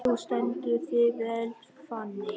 Þú stendur þig vel, Fanný!